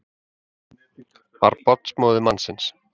Var barnsmóðir mannsins